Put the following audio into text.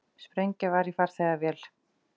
Sprengja var í farþegavél